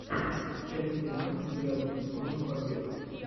часть тринадцать девятого сезона побега